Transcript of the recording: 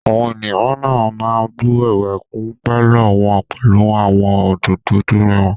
Àwọn ènìyàn mìíràn máa bù ẹwà kún pálọ̀ wọn pẹlú àwọn òdòdó tó rẹwà.